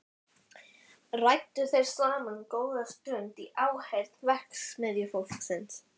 Ræddu þeir saman góða stund í áheyrn verksmiðjufólksins.